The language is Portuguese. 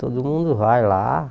Todo mundo vai lá.